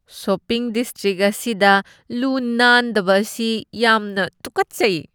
Shopping district ꯑꯁꯤꯗ ꯂꯨ ꯅꯥꯟꯗꯕ ꯑꯁꯤ ꯌꯥꯝꯅ ꯇꯨꯀꯠꯆꯩ꯫